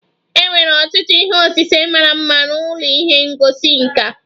E nwere ọtụtụ ihe osise mara mma n'ụlọ ihe ngosi nka.